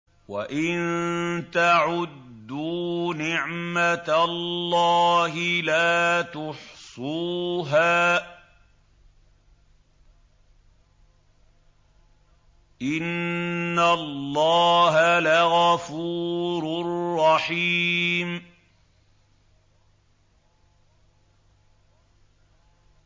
وَإِن تَعُدُّوا نِعْمَةَ اللَّهِ لَا تُحْصُوهَا ۗ إِنَّ اللَّهَ لَغَفُورٌ رَّحِيمٌ